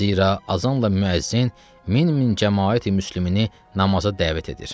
Zira azanla müəzzin min-min cəmaati müsəlimini namaza dəvət edir.